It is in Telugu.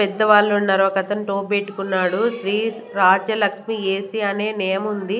పెద్దవాళ్ళు ఉన్నారు ఒక అతను టోపీ పెట్టుకున్నాడు శ్రీ రాజ్యలక్ష్మి ఎ_సి అనే నేమ్ ఉంది.